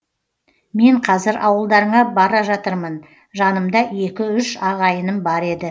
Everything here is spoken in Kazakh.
мен қазір ауылдарыңа бара жатырмын жанымда екі үш ағайыным бар еді